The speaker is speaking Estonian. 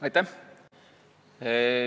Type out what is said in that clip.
Aitäh!